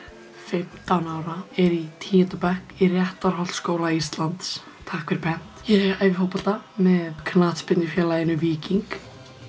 fimmtán ára ég í tíunda bekk í Réttarholtsskóla Íslands takk fyrir pent ég æfi fótbolta með knattspyrnufélaginu Víking